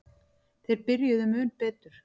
Þeir byrjuðu mun betur.